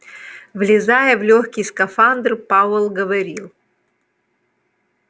влезая в лёгкий скафандр пауэлл говорил